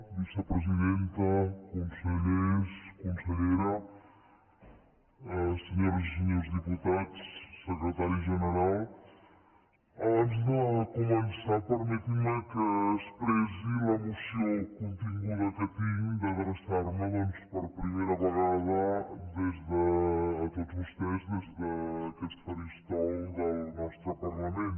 vicepresidenta consellers consellera senyores i senyors diputats secretari general abans de començar permetin me que expressi l’emoció continguda que tinc d’adreçar me doncs per primera vegada a tots vostès des d’aquest faristol del nostre parlament